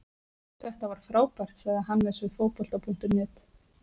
Þetta var frábært, sagði Hannes við Fótbolta.net.